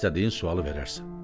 istədiyin sualı verərsən.